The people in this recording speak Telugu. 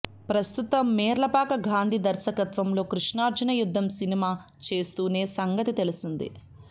ప్రస్తుతం మేర్లపాక గాంధీ దర్శకత్వంలో కృష్ణార్జున యుద్ధం సినిమా చేస్తూనే సంగతి తెలిసిందే